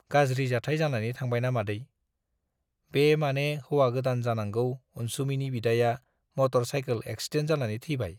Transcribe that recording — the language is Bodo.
गाज्रि जाथाय जानानै थांबायना मादै , बे माने हौवा गोदान जानांगौ अनसुमैनि बिदाया मटर साइकोल एक्सिडेन्ट जानानै थैबाय।